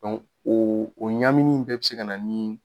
o o ɲaamini in bɛɛ bɛ se ka na ni